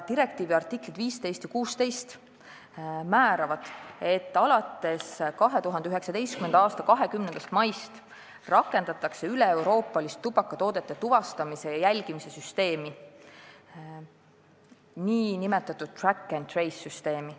Direktiivi artiklid 15 ja 16 määravad, et alates 2019. aasta 20. maist rakendatakse üleeuroopalist tubakatoodete tuvastamise ja jälgimise süsteemi, nn track and trace süsteemi.